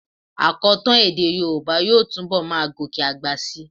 Àkọtọ́ èdè yorùbá yóò túnbọ̀ máa gòkè àgbà síi.